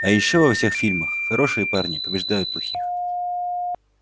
а ещё во всех фильмах хорошие парни побеждают плохих